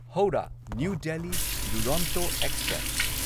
Howrah new Delhi Duronto express